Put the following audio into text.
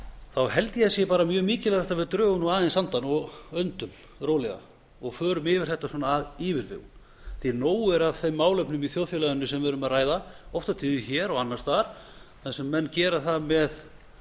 þá held ég að það sé mjög mikilvægt að við drögum aðeins andann og öndum rólega og förum yfir þetta af yfirvegun því nóg er af þeim málefnum í þjóðfélaginu sem við erum að ræða oft og tíðum hér og annars staðar þar sem menn gera það með